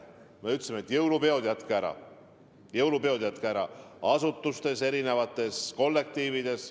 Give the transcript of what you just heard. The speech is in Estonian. Me ütlesime, et jõulupeod jätke ära, jätke need ära asutustes, erinevates kollektiivides.